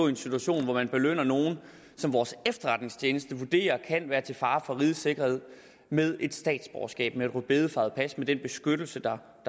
en situation hvor man belønner nogle som vores efterretningstjeneste vurderer kan være til fare for rigets sikkerhed med et statsborgerskab med et rødbedefarvet pas med den beskyttelse der